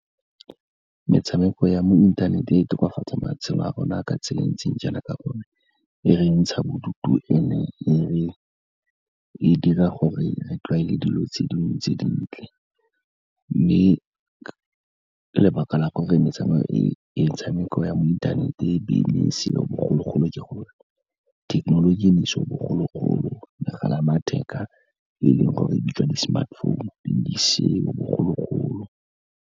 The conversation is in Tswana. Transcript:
Metshameko ya mo inthaneteng e tokafatsa matshelo a rona ka tsela e ntseng jaana, ka gore e re ntsha bodutu and-e e dira gore re tlwaele dilo tse dingwe tse dintle, mme ke lebaka la gore metshameko e ya metshameko ya mo inthaneteng pele ne e seo bogologolo ka gore thekenoloji e ne seo bogologolo, megala ya matheka e leng gore e bitswa di-smartphone, di ne di seo bogologolo.